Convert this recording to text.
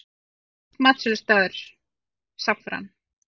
Uppáhalds matsölustaður: Saffran